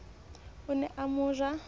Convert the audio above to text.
o ne a mo ja